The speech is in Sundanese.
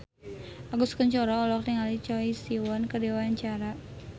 Agus Kuncoro olohok ningali Choi Siwon keur diwawancara